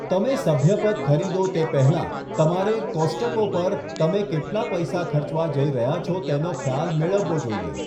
તમે સભ્યપદ ખરીદો તે પહેલાં, તમારે કોસ્ટ્કો પર તમે કેટલા પૈસા ખર્ચવા જઈ રહ્યાં છો તેનો ખ્યાલ મેળવવો જોઈએ.